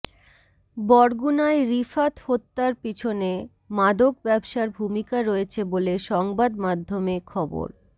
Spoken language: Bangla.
বরগুনায় রিফাত হত্যার পেছনে মাদক ব্যবসার ভূমিকা রয়েছে বলে সংবাদমাধ্যমে খবর